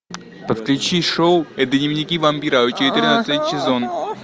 подключи шоу дневники вампира четырнадцатый сезон